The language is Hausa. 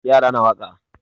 Yara na waƙa.